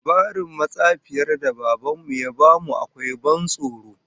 Labarin matsafiyar da Baban mu ya bamu akwai ban tsoro